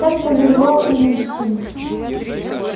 так повелевал им инстинкт